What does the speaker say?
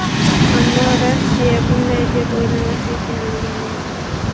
Ammo Rossiya bunday deb o‘ylamas ekan”, degan edi.